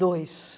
dois.